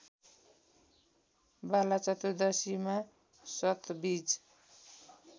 बालाचतुर्दशीमा सतवीज